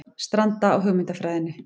Stranda á hugmyndafræðinni